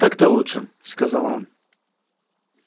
так-то лучше сказал он